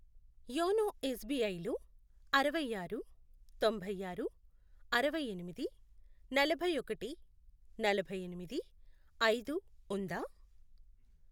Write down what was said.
YONO S B I లో అరవై ఆరు, తొంభై ఆరు, అరవై ఎనిమిది, నలభై ఒకటి, నలభై ఎనిమిది, ఐదు, ఉందా?